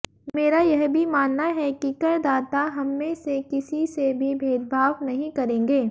मेरा यह भी मानना है कि करदाता हममें से किसी से भी भेदभाव नहीं करेंगे